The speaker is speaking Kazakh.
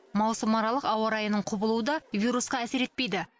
маусымаралық ауа райының құбылуы да вирусқа әсер етпейді